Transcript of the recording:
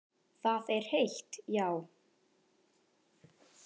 Það er heitt, já.